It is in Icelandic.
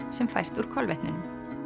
sem fæst úr kolvetnunum